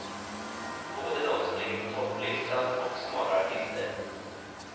Både de som ligger på topplistan och smalare artister.